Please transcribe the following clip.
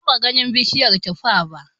Ban taɓa ganin bishiyar tuffa ba